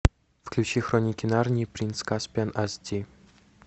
включи хроники нарнии принц каспиан ас ди